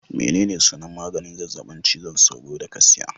Menene sunan maganin zazzabin cizon sauro da ka siya